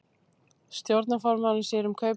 Stjórnarformaðurinn sér um kaup og sölur